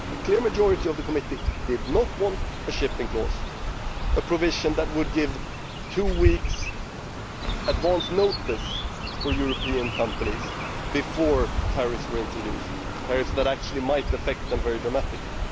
A clear majority of the Committee did not want a shipping clause a provision that would give two weeks advance notice to European companies before tariffs were introduced tariffs that actually might affect them very dramatically.